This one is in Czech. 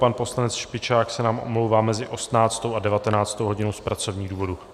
Pan poslanec Špičák se nám omlouvá mezi 18. a 19. hodinou z pracovních důvodů.